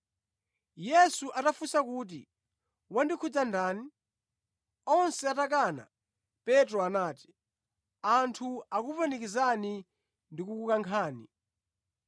Yesu anafunsa kuti, “Wandikhudza ndani?” Onse atakana, Petro anati, “Anthu akukupanikizani ndi kukukankhani.”